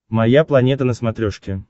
моя планета на смотрешке